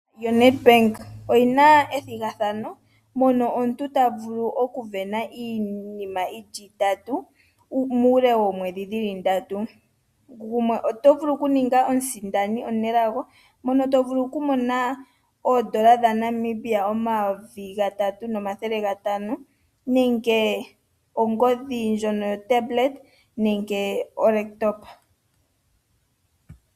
Ombaanga yoNedbank oyina ethigathano lyokuvena iinima yili itatu muule womwedhi dhili ndatu. Gumwe oto vulu oku ninga omusindani omunelago mono tosindana oondola dhaNamibia omayovi gatatu nomathele gatano nenge ongodhi ndjono yoTablet nenge olaptop.